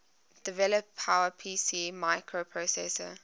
develop powerpc microprocessor